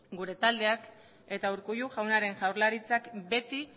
gure taldeak eta urkullu jaunaren jaurlaritzak beti